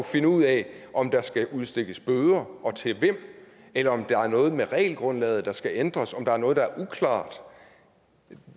finde ud af om der skal udstikkes bøder og til hvem eller om der er noget med regelgrundlaget der skal ændres om der er noget der er uklart